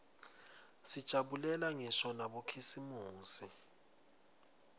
sijabulela ngisho nabokhisimusi